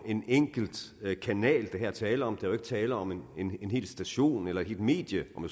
en enkelt kanal der her er tale om der er tale om en hel station eller et helt medie hvor